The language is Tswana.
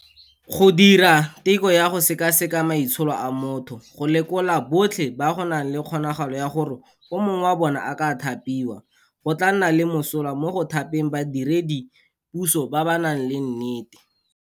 Go dira teko ya go sekaseka maitsholo a motho go lekola botlhe ba go nang le kgonagalo ya gore o mongwe wa bona a ka thapiwa, go tla nna le mosola mo go thapeng badiredi puso ba ba nang le nnete.